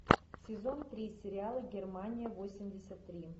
сезон три сериала германия восемьдесят три